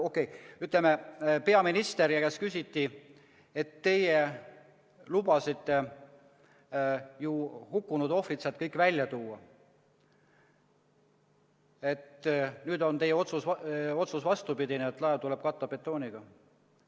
Okei, ütleme, peaministri käest küsiti, et teie lubasite ju hukkunud ohvrid sealt kõik välja tuua ja nüüd on teie otsus vastupidine, et laev tuleb katta betooniga.